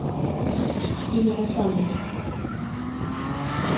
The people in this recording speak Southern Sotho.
a ne a sa mo